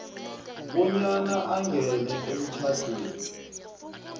bonyana angene emtjhadweni